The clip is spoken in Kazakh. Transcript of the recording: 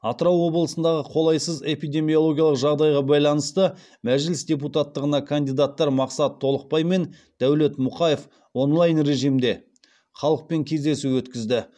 атырау облысындағы қолайсыз эпидемиологиялық жағдайға байланысты мәжіліс депутаттығына кандидаттар мақсат толықбай мен дәулет мұқаев онлайн режимде халықпен кездесу өткізді